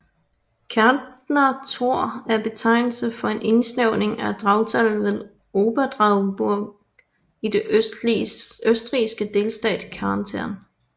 Kärntner Tor er betegnelsen for en indsnævring af Drautal ved Oberdrauburg i den østrigske delstat Kärnten